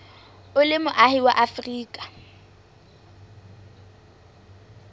o le moahi wa afrika